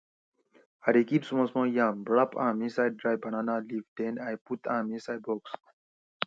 i dey kip small small yam wrap am inside dry banana leafs den i put am inside box